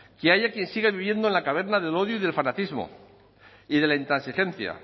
que haya quien sigue viviendo en la caverna del odio y del fanatismo y de la intransigencia